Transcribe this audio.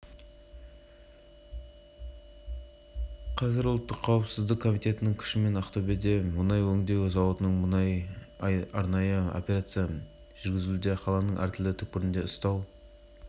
қазір кәсіпорынның барлық кеңселеріндегі құжаттарды тексеруге алу жүріп жатыр деді сәрсенбі күні ақпаратқа қанық дерек көзі